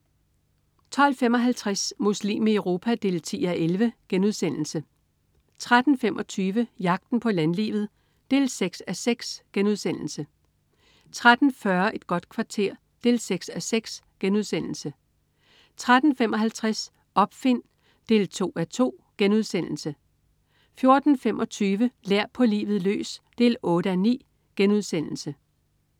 12.55 Muslim i Europa 10:11* 13.25 Jagten på landlivet 6:6* 13.40 Et godt kvarter 6:6* 13.55 Opfind 2.2* 14.25 Lær på livet løs 8:9*